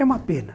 É uma pena.